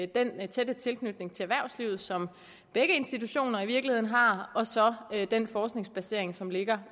den tætte tilknytning til erhvervslivet som begge institutioner i virkeligheden har og så den forskningsbasering som ligger